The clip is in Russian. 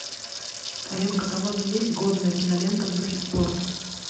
в твоем каталоге есть годная кинолента в духе спорта